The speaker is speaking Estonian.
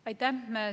Aitäh!